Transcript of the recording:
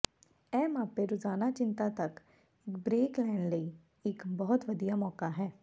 ਇਹ ਮਾਪੇ ਰੋਜ਼ਾਨਾ ਚਿੰਤਾ ਤੱਕ ਇੱਕ ਬ੍ਰੇਕ ਲੈਣ ਲਈ ਲਈ ਇੱਕ ਬਹੁਤ ਵਧੀਆ ਮੌਕਾ ਹੈ